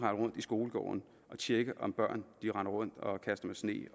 rundt i skolegårde og tjekke om børn render rundt og kaster med sne